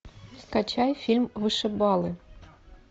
скачай фильм вышибалы